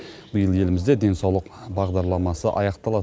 биыл елімізде денсаулық бағдарламасы аяқталады